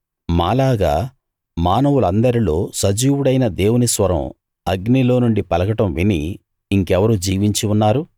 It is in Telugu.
మాలాగా మానవులందరిలో సజీవుడైన దేవుని స్వరం అగ్నిలో నుండి పలకడం విని ఇంకెవరు జీవించి ఉన్నారు